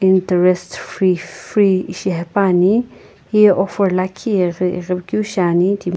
interest free shihaepani heyi offer liikhi aquekeu shaeni.